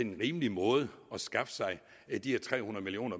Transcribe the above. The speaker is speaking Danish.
en rimelig måde at skaffe sig de her tre hundrede million